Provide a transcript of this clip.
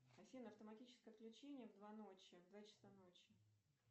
афина автоматическое отключение в два ночи в два часа ночи